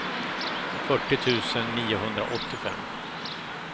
fyrtio tusen niohundraåttiofem